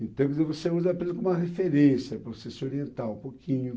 Então, quer dizer, você usa apenas como uma referência para você se orientar um pouquinho.